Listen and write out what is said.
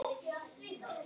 ásamt mörgum öðrum.